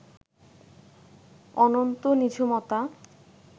অনন্ত নিঝুমতা